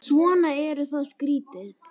Svo eru það skíðin.